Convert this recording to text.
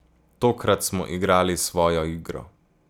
Tokrat smo igrali svojo igro.